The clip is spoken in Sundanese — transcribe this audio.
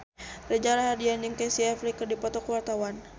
Reza Rahardian jeung Casey Affleck keur dipoto ku wartawan